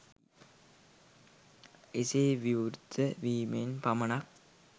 එසේ විවෘත වීමෙන් පමණක්